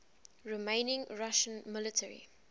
remaining russian military